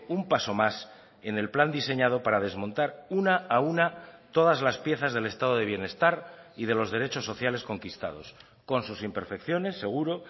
un paso más en el plan diseñado para desmontar una a una todas las piezas del estado de bienestar y de los derechos sociales conquistados con sus imperfecciones seguro